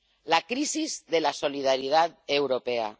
La crisis de la solidaridad europea.